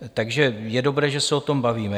Takže je dobré, že se o tom bavíme.